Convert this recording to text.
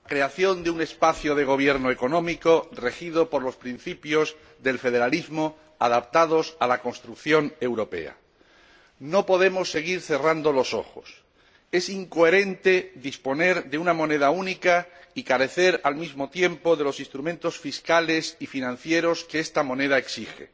Señor Presidente, deseamos la creación de un espacio de gobierno económico regido por los principios del federalismo adaptados a la construcción europea. No podemos seguir cerrando los ojos. Es incoherente disponer de una moneda única y carecer al mismo tiempo de los instrumentos fiscales y financieros que esta moneda exige.